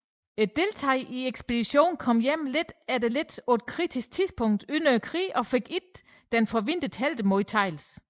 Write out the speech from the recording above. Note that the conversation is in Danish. Deltagerne i ekspeditionen kom hjem lidt efter lidt på et kritisk tidspunkt under krigen og fik ikke den forventede heltemodtagelse